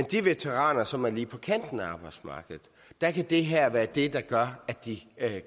de veteraner som er lige på kanten af arbejdsmarkedet kan det her være det der gør at de